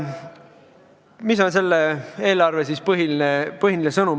Mis on selle eelarve põhiline sõnum?